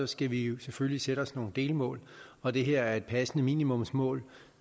skal vi jo selvfølgelig sætte os nogle delmål og det her er et passende minimumsmål